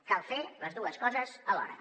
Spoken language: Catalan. cal fer les dues coses alhora